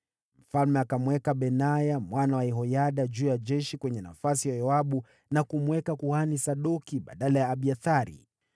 Mfalme akamweka Benaya mwana wa Yehoyada juu ya jeshi kwenye nafasi ya Yoabu na kumweka kuhani Sadoki badala ya Abiathari.